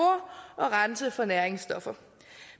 og rense for næringsstoffer